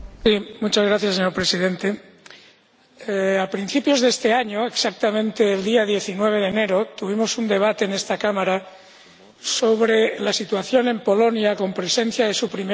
Señor Presidente, a principios de este año, exactamente el día 19 de enero, tuvimos un debate en esta Cámara sobre la situación en Polonia, con presencia de su Primera Ministra.